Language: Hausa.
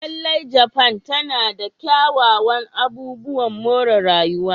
Lallai, Japan tana da kyawawan abubuwan more rayuwa.